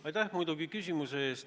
Aitäh küsimuse eest!